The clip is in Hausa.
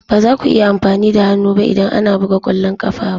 Ba za ku iya amfani da hannu ba idan ana buga ƙwallon ƙafa ba